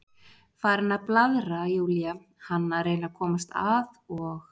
Farin að blaðra, Júlía, hann að reyna að komast að, og